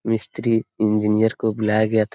मिस्तरी इंजिनियर को बुलाया गया था।